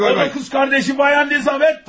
O da kız kardeşi Bayan Lizavetta.